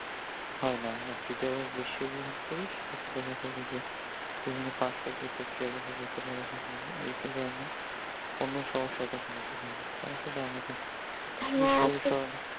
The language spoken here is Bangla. হয় না আর যদি আমরা বেশি গ্রহণ করি সেক্ষেত্রে দেখা যাবে যে বিভিন্ন পার্শপ্রতিক্রিয়া দেখা যেতে পারে এবং এইটার কারণে অন্য সমস্যা দেখা যেতে পারে তাই আসলে আমাদেরকে